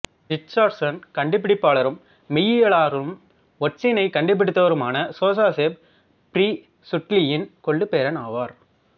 Richardson கண்டுபிடிப்பாளரும் மெய்யியலாளரும் ஒட்சிசனைக் கண்டுபிடித்தவருமான சோசேப் பிறீசுட்லியின் கொள்ளுப் பேரன் ஆவார்